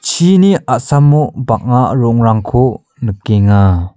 chini a·samo bang·a rongrangko nikenga.